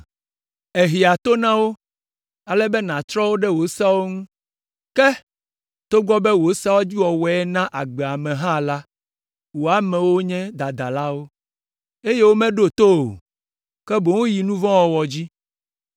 Èhea to na wo ale be nàtrɔ wo ɖe wò seawo ŋu. Ke, togbɔ be wò seawo dzi wɔwɔe naa agbe ame hã la, wò amewo nye dadalawo, eye womeɖo to o, ke boŋ woyi nu vɔ̃ wɔwɔ dzi.